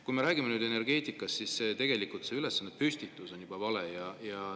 Kui me räägime energeetikast, siis see ülesande püstitus on juba vale.